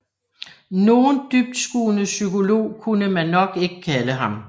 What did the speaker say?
Nogen dybtskuende psykolog kunne man nok ikke kalde ham